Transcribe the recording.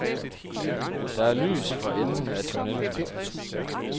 Der er lys for enden af tunnelen.